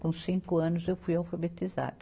Com cinco anos eu fui alfabetizada.